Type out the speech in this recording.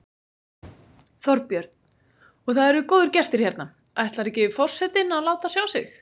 Þorbjörn: Og það eru góðir gestir hérna, ætlar ekki forsetinn að láta sjá sig?